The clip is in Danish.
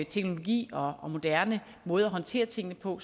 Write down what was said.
teknologi og moderne måder at håndtere tingene på